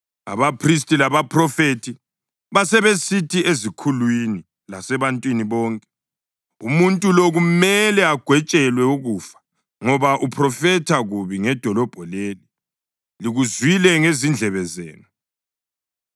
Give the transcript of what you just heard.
Abaphristi, labaphrofethi basebesithi ezikhulwini lasebantwini bonke, “Umuntu lo kumele agwetshelwe ukufa ngoba uphrofetha kubi ngedolobho leli. Likuzwile ngezindlebe zenu!”